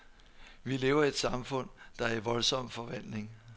Vi lever i et samfund, der er i voldsom forvandling.